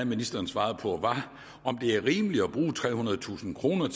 ministeren svarede på var om det er rimeligt at bruge trehundredetusind kroner